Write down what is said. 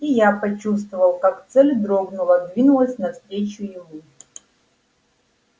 и я почувствовал как цель дрогнула двинулась навстречу ему